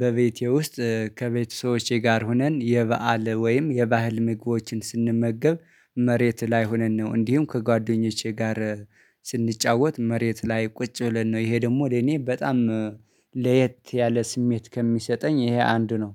በቤቴ ውስጥ ከቤተሰቦቼ ጋር ሆነን የበአል ወይም የባህል ምግቦችን ስንመገብ መሬት ላይ ሆነን ነው። እንዲሁም ከጓደኞቼ ጋር ስንጫወት መሬት ላይ ቁጭ ብለን ነው። ይሄ ደግሞ ለእኔ በጣም ለየት ያለ ስሜት ከሚሰጠኝ ይሄ አንዱ ነው